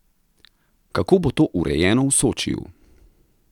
Kako bo to urejeno v Sočiju?